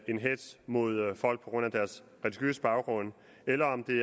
en hetz mod folk på grund af deres religiøse baggrund eller om det